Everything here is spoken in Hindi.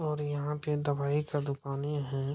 और यहां पे दवाई का दुकाने हैं।